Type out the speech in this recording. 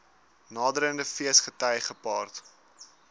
naderende feesgety gepaard